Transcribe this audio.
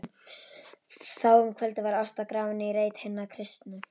Þá um kvöldið var Ásta grafin í reit hinna kristnu.